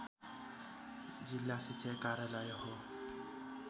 जिल्ला शिक्षा कार्यालय हो